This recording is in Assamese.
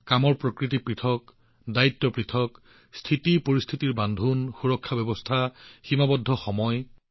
কামৰ প্ৰকৃতি পৃথক দায়িত্ব পৃথক পৰিস্থিতি সুৰক্ষাৰ কঠোৰতা আৰু সময় সীমাৰ দ্বাৰা আৱদ্ধ